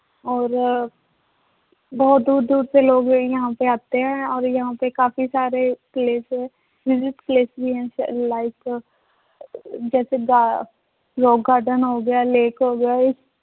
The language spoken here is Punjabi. ਔਰ ਬਹੁਤ ਦੂਰ ਦੂਰ ਸੇ ਲੋਗ ਯਹਾਂ ਪੇ ਆਤੇ ਹੈ ਔਰ ਯਹਾਂ ਪਰ ਕਾਫ਼ੀ ਸਾਰੇ place ਹੈ place ਵੀ ਹੈ like ਜੈਸੇ ਗਾ rock garden ਹੋ ਗਿਆ lake ਹੋ ਗਿਆ ਇਹ